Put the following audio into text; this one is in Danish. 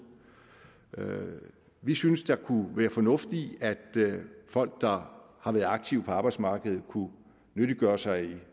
vi synes at der kunne være fornuft i at folk der har været aktive på arbejdsmarkedet kunne nyttiggøre sig i